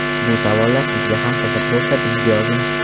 Bu savollar sizga ham qiziq bo‘lsa bizga yozing!